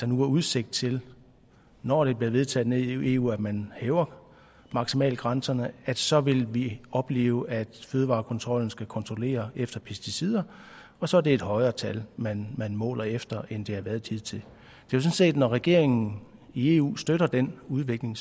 nu er udsigt til når det bliver vedtaget nede i eu at man hæver maksimalgrænserne så vil vi opleve at fødevarekontrollen skal kontrollere efter pesticider og så er det et højere tal man måler efter end det har været hidtil når regeringen i eu støtter den udvikling